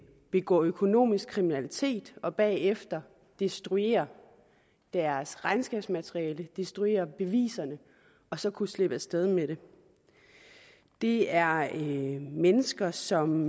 begå økonomisk kriminalitet og bagefter destruere deres regnskabsmateriale destruere beviserne og så kunne slippe af sted med det det er mennesker som